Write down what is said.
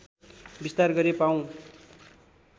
विस्तार गरी पाउँ